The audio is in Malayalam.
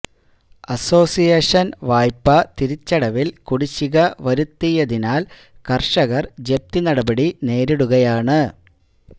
അസോസിയേഷന് വായ്പ തിരിച്ചടവില് കുടിശിക വരുത്തിയതിനാല് കര്ഷകര് ജപ്തി നടപടി നേരിടുകയാണ്